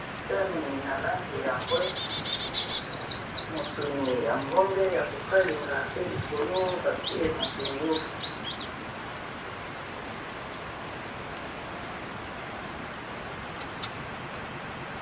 Sani na langi ya mbwe, mosuni ya ngombe ya kokalinga pe likolo batie matungulu.